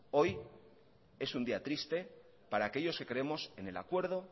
hoy es un día triste para aquellos que creemos en el acuerdo